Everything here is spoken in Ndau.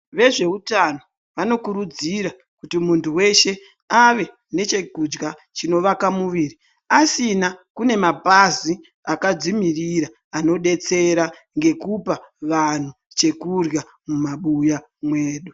Vezveutano vanokurudzira kuti munthu weshe ave nechekudya chinovaka muviri asina kune mapazi akadzimiririra anodetsera ngekupa vanthu chekurya mumabuya mwedu.